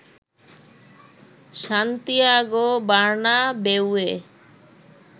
Santiago বার্নাবেউয়ে